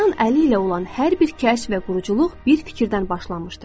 İnsan əli ilə olan hər bir kəşf və quruculuq bir fikirdən başlamışdır.